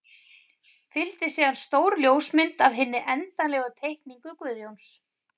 Fylgdi síðan stór ljósmynd af hinni endanlegu teikningu Guðjóns.